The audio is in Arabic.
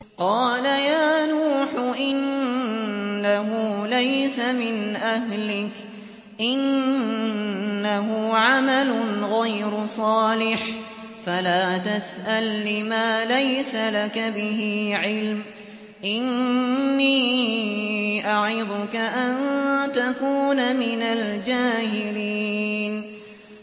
قَالَ يَا نُوحُ إِنَّهُ لَيْسَ مِنْ أَهْلِكَ ۖ إِنَّهُ عَمَلٌ غَيْرُ صَالِحٍ ۖ فَلَا تَسْأَلْنِ مَا لَيْسَ لَكَ بِهِ عِلْمٌ ۖ إِنِّي أَعِظُكَ أَن تَكُونَ مِنَ الْجَاهِلِينَ